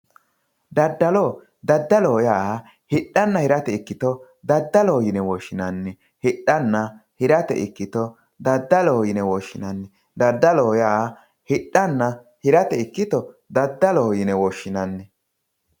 Daddalo, daddaloho yaa hidhanna hirate ikkitto daddaloho yine woshshinanni hidhana hirate ikkitto daddaloho yine woshshinanni ,daddaloho yaa hidhanna hirate ikkitto daddaloho yine woshshinanni.